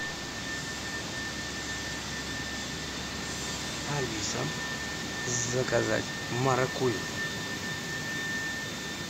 алиса заказать маракуйю